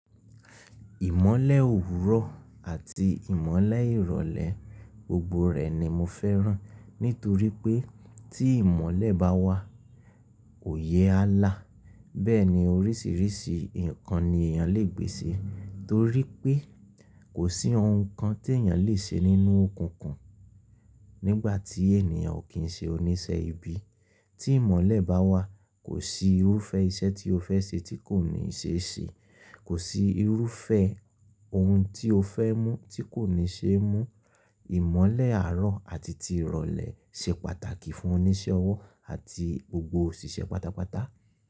Ìmọ̀lẹ̀ òwúrọ̀ àti ìmọ̀lẹ̀ ìrọ̀lẹ̀ gbogbo rẹ̀ ni mo fẹ́ràn. Nítorí pé tí ìmọ̀lẹ̀ bá wà, òye á là, bẹ́ẹ̀ ni oríṣìíríṣìí nǹkan ni èèyàn lè gbé ṣe. Torí pé kò sí ohun kan tí èèyàn lè ṣe nínú òkùnkùn nígbà tí ènìyàn ò kín ṣe oníṣẹ́ ibi. Tí ìmọ̀lẹ̀ bá wà, kò sí irúfẹ́ iṣẹ́ tí o fẹ́ ṣe tí kò ní ṣe ṣe, kò sí irúfẹ́ ohun tí o fẹ́ mú tí kò ní ṣe mú. Ìmọ̀lẹ̀ àárọ̀ àti ìrọ̀lẹ̀ ṣe pàtàkì fún oníṣẹ́ ọwọ́ àti gbogbo òṣìṣẹ́ pátápátá.